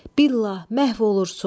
Bilah məhv olursun!